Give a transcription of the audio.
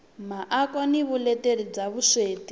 miako na vuleteri bya vuswikoti